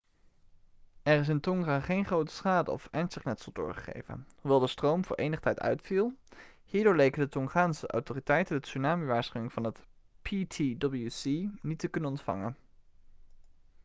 er is in tonga geen grote schade of ernstig letsel doorgegeven hoewel de stroom voor enige tijd uitviel hierdoor leken de tongaanse autoriteiten de tsunami-waarschuwing van het ptwc niet te kunnen ontvangen